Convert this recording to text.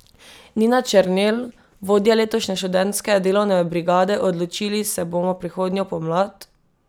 Nina Černelj, vodja letošnje Študentske delovne brigade: "Odločili se bomo prihodnjo pomlad.